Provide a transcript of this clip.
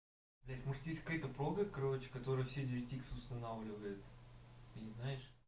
блядь может есть какая-то программа короче которая все девять икс устанавливает ты не знаешь